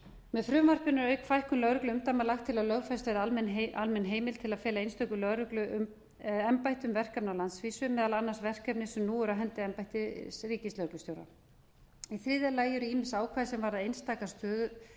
með frumvarpinu er auk fækkun lögregluumdæma lagt til að lögfest verði almenn heimild til að fela einstökum lögregluembættum verkefni á landsvísu meðal annars verkefni sem nú eru á hendi embætti ríkislögreglustjóra í þriðja lagi eru ýmis ákvæði sem